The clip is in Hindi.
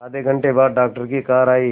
आधे घंटे बाद डॉक्टर की कार आई